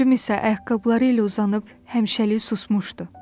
Bacım isə ayaqqabıları ilə uzanıb həmişəlik susmuşdu.